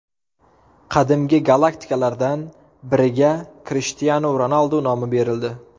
Qadimgi galaktikalardan biriga Krishtianu Ronaldu nomi berildi.